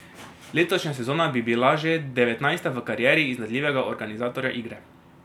Letošnja sezona bi bila že devetnajsta v karieri iznajdljivega organizatorja igre.